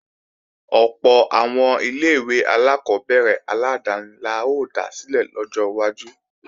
Ọ̀pọ̀ àwọn ilé-ìwé alákọ́bẹ̀rẹ̀ aládáni la ó dá sílẹ̀ lọ́jọ́ iwájú